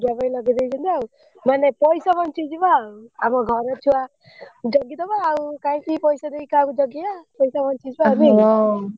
ପାଇଁ ଲଗେଇଦେଇଛନ୍ତି ଆଉ ମାନେ ପଇସା ବଞ୍ଚିଯିବ ଆଉ ଆମ ଘର ଛୁଆ ଜଗିଦବ ଆଉ କାଇଁକି ପଇସା ଦେଇକି କାହାକୁ ଜଗେଇଆ ପଇସା ବଞ୍ଚିଯିବ ଆଉ ନୁହେଁ କି?